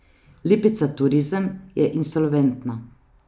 Lipica Turizem je insolventna.